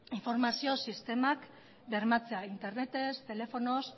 informazio sistemak bermatzea internetez telefonoz